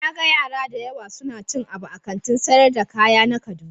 Na gan yara da yawa suna cin abu a Kantin sayar da kaya na kaduna.